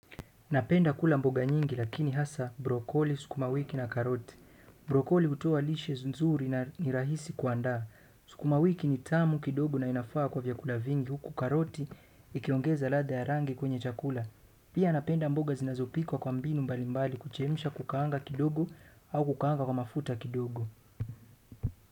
Napenda kula mboga nyingi lakini hasa, brocolli, sukumawiki na karoti. Brokoli hutoa lishe nzuri na ni rahisi kuanda. Sukuma wiki ni tamu kidogo na inafaa kwa vyakula vingi huku karoti ikiongeza latha ya rangi kwenye chakula. Pia napenda mboga zinazopikwa kwa mbinu mbalimbali kuchemushwa kukaanga kidogo au kukaanga kwa mafuta kidogo.